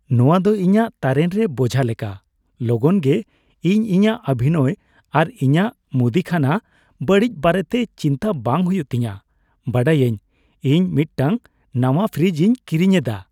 ᱱᱚᱶᱟ ᱫᱚ ᱤᱧᱟᱹᱜ ᱛᱟᱨᱮᱱ ᱨᱮ ᱵᱳᱡᱷᱟ ᱞᱮᱠᱟ, ᱞᱚᱜᱚᱱ ᱜᱮ ᱤᱧ ᱤᱧᱟᱹᱜ ᱚᱵᱷᱤᱱᱚᱭ ᱟᱨ ᱤᱧᱟᱹᱜ ᱢᱩᱫᱤᱠᱷᱟᱱᱟ ᱵᱟᱹᱲᱤᱡ ᱵᱟᱨᱮᱛᱮ ᱪᱤᱱᱛᱟᱹ ᱵᱟᱝ ᱦᱩᱭᱩᱜ ᱛᱤᱧᱟᱹ ᱵᱟᱰᱟᱭᱟᱹᱧ ᱾ ᱤᱧ ᱢᱤᱫᱴᱟᱝ ᱱᱟᱶᱟ ᱯᱷᱨᱤᱡᱽ ᱤᱧ ᱠᱤᱨᱤᱧ ᱮᱫᱟ ᱾